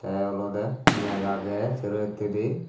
tey olodey meg agey sero hittedi.